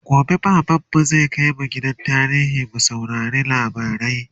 gobe baban mu zai kaimj gidan tarihi mu saurari labarai